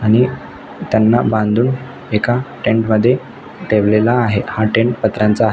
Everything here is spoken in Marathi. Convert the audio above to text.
आणि त्यांना बांधून एका टेन्ट मध्ये ठेवलेला आहे हा टेन्ट पत्र्यांचा आ--